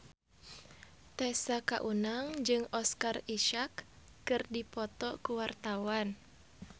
Tessa Kaunang jeung Oscar Isaac keur dipoto ku wartawan